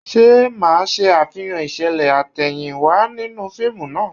Ṣé ẹ máa ṣe àfihàn ìṣẹ̀lẹ̀ àtẹ̀yìnwá nínú fíìmù náà?